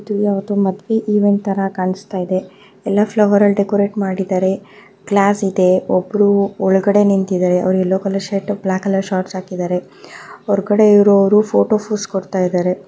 ಇದು ಯಾವುದೊ ಮದುವೆ ಇವೆಂಟ್ ತರ ಕಾಣಸ್ತಾ ಇದೆ ಎಲ್ಲ ಫ್ಲವರಲ್ಲಿ ಡೆಕೋರೇಟ್ ಮಾಡಿದಾರೆ ಗ್ಲಾಸ್ ಇದೆ ಒಬ್ರು ಒಳ್ಗಡೆ ನಿಂತಿದ್ದಾರೆ. ಅವರು yellow colour shirt black colour shorts ಹಾಕಿದ್ದರೆ. ಹೊರಗಡೆ ಇರೋವರು ಫೋಟೋ ಪೋಸ್ ಕೊಡ್ತಾ ಇದಾರೆ.